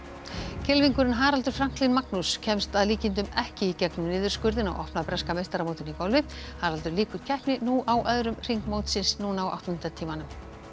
kylfingurinn Haraldur Franklín Magnús kemst að líkindum ekki í gegnum niðurskurðinn á opna breska meistaramótinu í golfi Haraldur lýkur keppni á öðrum hring mótsins á áttunda tímanum